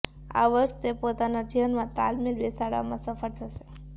આ વર્ષ તે પોતાના જીવનમાં તાલમેલ બેસાડવામાં સફળ થશે